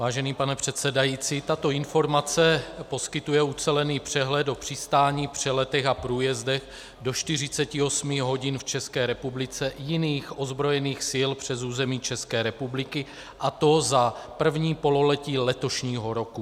Vážený pane předsedající, tato informace poskytuje ucelený přehled o přistáních, přeletech a průjezdech do 48 hodin v České republice jiných ozbrojených sil přes území České republiky, a to za první pololetí letošního roku.